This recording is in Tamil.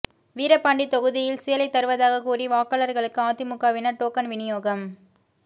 வீரபாண்டி தொகுதியில் சேலை தருவதாக கூறி வாக்காளர்களுக்கு அதிமுகவினர் டோக்கன் விநியோகம்